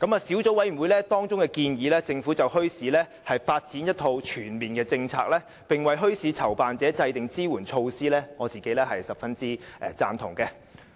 小組委員會建議政府就墟市發展一套全面政策，並為墟市籌辦者制訂支援措施，對此我是十分贊同的。